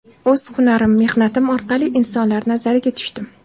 O‘z hunarim, mehnatim orqali insonlar nazariga tushdim.